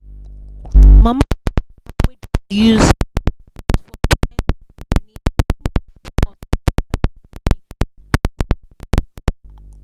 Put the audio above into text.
mama and papa wey don old use their phone send money small-small to help their grandpikin pay school fees